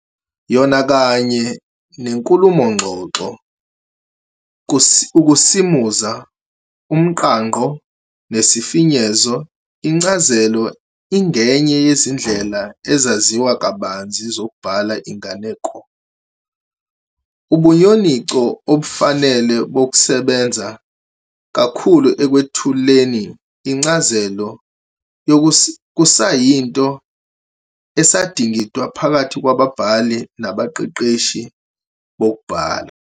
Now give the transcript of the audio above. Yona kanye nenkulumo-ngxoxo, ukusimuza, umqangqo, nesifenyezo, incaziso ingenye yezindlela ezaziwa kabanzi zokubhala inganeko. Ubunyoninco obufanele nobusebenza kakhulu ekwethuleni incaziso kusayinto esadingidwa phakathi kwababhali nabaqeqeshi bokubhala.